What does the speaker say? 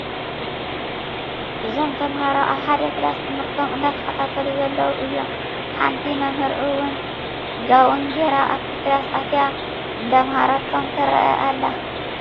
እዞም ተማሃሮ ኣብ ሓደ ክላስ ትምህርቶም እንዳተከታተሉ ዘለዎ እዮም። ሓንቲ መምህር እውን ጓውን ጌራ ኣብቲ ክላስ ኣትያ እንዳኣምሃረቶም ትረአ ኣላ።